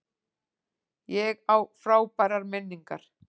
Ég á frábærar minningar.